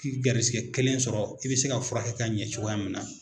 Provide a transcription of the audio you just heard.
K'i gɛrisigɛ kelen sɔrɔ i bɛ se ka furakɛ ka ɲɛ cogoya min na